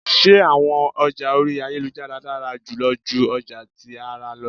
Ṣe awọn ọja ori ayelujara dara julọ ju ọja ti ara lọ?